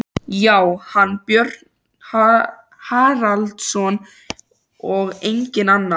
Já, hann, Björn Haraldsson, og enginn annar!